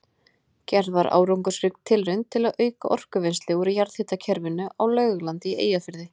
Gerð var árangursrík tilraun til að auka orkuvinnslu úr jarðhitakerfinu á Laugalandi í Eyjafirði.